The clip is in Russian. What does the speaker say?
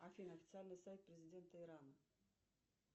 афина официальный сайт президента ирана